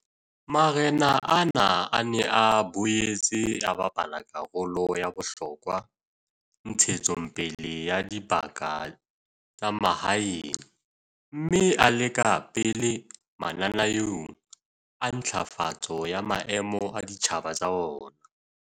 Marena ana a ne a boetse a bapala karolo ya bohlokwa ntshetsong pele ya dibaka tsa mahaeng mme a le ka pele mananeong a ntlafatso ya maemo a ditjhaba tsa ona.